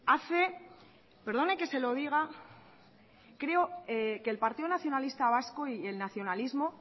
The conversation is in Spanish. hace perdona que se lo diga que el partido nacionalista vasco y el nacionalismo